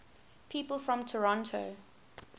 people from toronto